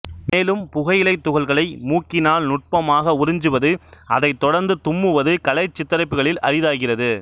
மேலும் புகையிலைத் துகள்களை மூக்கினால் நுட்பமாக உறிஞ்சுவது அதைத் தொடர்ந்து தும்முவது கலைச் சித்தரிப்புக்களில் அரிதாகியது